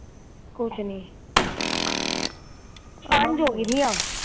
ਕੁਛ ਨਹੀਂ ਸਾਂਝ ਹੋ ਗਈ ਦੀ ਆ